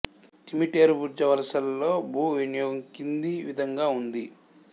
తిమిటేరు బుర్జ వలసలో భూ వినియోగం కింది విధంగా ఉంది